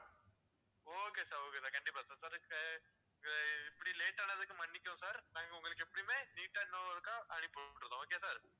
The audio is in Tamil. okay sir okay sir கண்டிப்பா sir ஹம் இப்படி late ஆனதுக்கு மன்னிக்கவும் நாங்க உங்களுக்கு எப்போவுமே neat ஆ இன்னொருக்கா அனுப்பிவிடுறோம்.